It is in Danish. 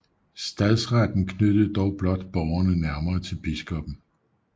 Stadsretten knyttede dog blot borgerne nærmere til biskoppen